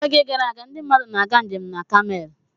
N'oge gara aga, ndị mmadụ na-aga njem na Kamel.